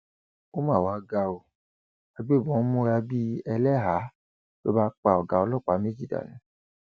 ó mà wàá ga ọ agbébọn múra bíi ẹlẹhàá ló bá pa ọgá ọlọpàá méjì dànù